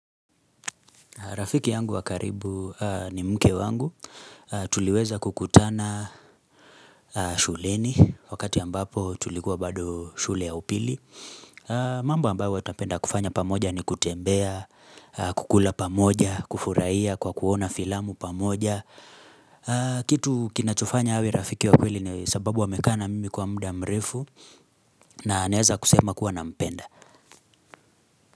Rafiki yangu wakaribu ni mke wangu, tuliweza kukutana shuleni, wakati ambapo tulikuwa bado shule ya upili. Mambo ambayo huwa tunapenda kufanya pamoja ni kutembea, kukula pamoja, kufurahia kwa kuona filamu pamoja. Kitu kinachofanya awe Rafiki wa kweli ni sababu amekaa na mimi kwa muda mrefu na naweza kusema kuwa nampenda.